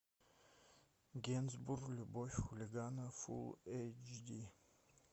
генсбур любовь хулигана фул эйч ди